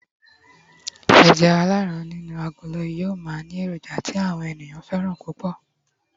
eja alaran inu agolo yíò ma ni eroja ti àwọn ènìyàn fẹràn púpò